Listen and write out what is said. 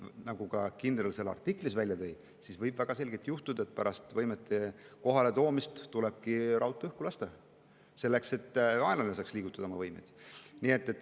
Nagu ka kindral seal artiklis välja tõi, võib väga selgelt juhtuda, et pärast võimete kohaletoomist tulebki raudtee õhku lasta, et vaenlane ei saaks oma võimeid liigutada.